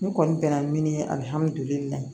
N kɔni bɛnna min ye alihamudulilayi